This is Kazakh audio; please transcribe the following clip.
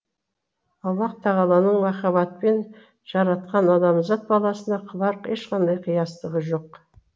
аллаһ тағаланың махаббатпен жаратқан адамзат баласына қылар ешқандай қиястығы жоқ